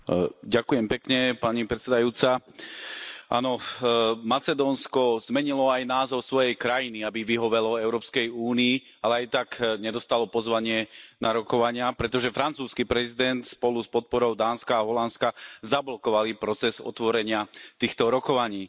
Vážená pani predsedajúca, áno, Macedónsko zmenilo aj názov svojej krajiny, aby vyhovelo Európskej únii, ale aj tak nedostalo pozvanie na rokovania, pretože francúzsky prezident spolu s podporou Dánska a Holandska zablokovali proces otvorenia týchto rokovaní.